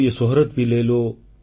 ୟହ ଶୌହରତ ଭି ଲେ ଲୋ